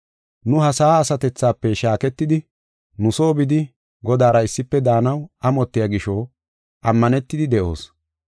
Nu ha sa7a asatethafe shaaketidi, nu soo bidi Godaara issife daanaw amotiya gisho, ammanetidi de7oos.